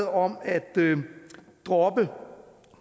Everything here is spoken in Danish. om at droppe